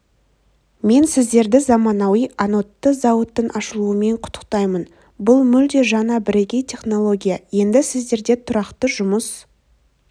мен сіздерді заманауи анодты зауыттың ашылуымен құттықтаймын бұл мүлде жаңа бірегей технология енді сіздерде тұрақты жұмыс